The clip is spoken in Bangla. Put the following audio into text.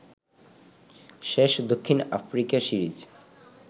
শেষ দক্ষিণ আফ্রিকা সিরিজ